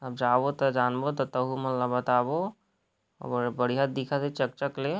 अ_जावत है जानवत त तहुमन ल बताबों बडिया दिखते चक-चक ले।